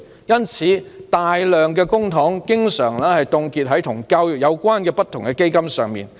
因此，大量公帑經常凍結在與教育有關的不同基金上。